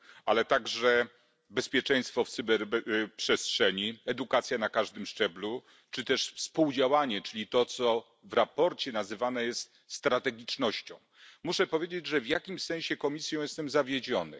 ale także bezpieczeństwo w cyberprzestrzeni, edukacja na każdym szczeblu czy też współdziałanie, czyli to co w sprawozdaniu nazywane jest strategicznością. Muszę powiedzieć, że w jakimś sensie Komisją jestem zawiedziony.